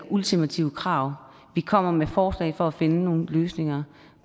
ultimative krav vi kommer med forslag for at finde nogle løsninger